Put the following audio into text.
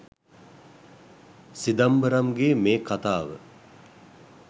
සිදම්බරම්ගේ මේ කතාව